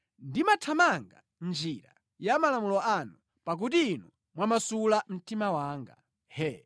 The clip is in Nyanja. Ndimathamanga mʼnjira ya malamulo anu, pakuti Inu mwamasula mtima wanga.